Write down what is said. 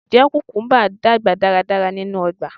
Njẹ kukumba n dagba daradara ninu ọgba?